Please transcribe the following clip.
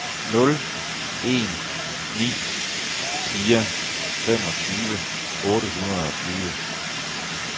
nul en ni fire femogtyve otte hundrede og tyve